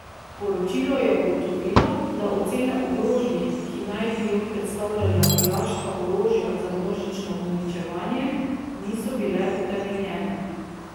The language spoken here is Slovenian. Poročilo je ugotovilo, da ocene o grožnji, ki naj bi jo predstavljala iraška orožja za množično uničevanje, niso bile utemeljene.